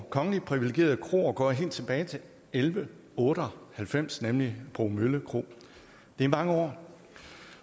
kongeligt privilegerede kroer går helt tilbage til elleve otte og halvfems nemlig bromølle kro det er mange år